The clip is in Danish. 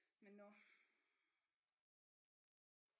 Men nå